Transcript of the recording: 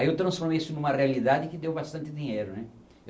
Aí eu transformei isso numa realidade que deu bastante dinheiro, né?